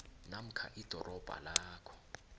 namkha idorobha lapho